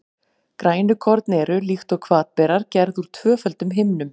Grænukorn eru, líkt og hvatberar, gerð úr tvöföldum himnum.